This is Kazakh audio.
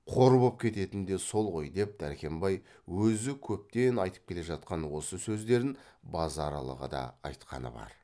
қор боп кететін де сол ғой деп дәркембай өзі көптен айтып келе жатқан осы сөздерін базаралыға да айтқаны бар